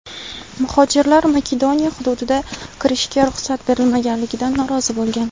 Muhojirlar Makedoniya hududiga kirishga ruxsat berilmaganligidan norozi bo‘lgan.